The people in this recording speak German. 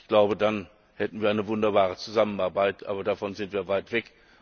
Ich glaube, dann hätten wir eine wunderbare Zusammenarbeit, aber davon sind wir weit